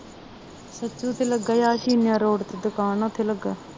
ਸਚੁ ਤੇ ਲੱਗਾ ਇਹ ਰੋਡ ਤੇ ਦੁਕਾਨ ਆ ਉੱਥੇ ਲੱਗਾ